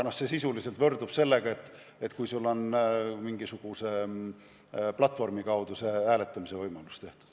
Ning see sisuliselt võrdub sellega, et sulle on mingisuguse platvormi kaudu hääletamise võimalus antud.